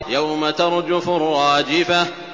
يَوْمَ تَرْجُفُ الرَّاجِفَةُ